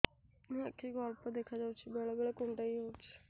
ଆଖି କୁ ଅଳ୍ପ ଦେଖା ଯାଉଛି ବେଳେ ବେଳେ କୁଣ୍ଡାଇ ହଉଛି